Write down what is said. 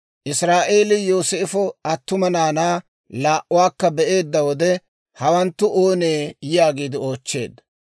Israa'eelii Yooseefo attuma naanaa laa"atuwaa be'eedda wode, «hawanttu oonee?» yaagiide oochcheedda.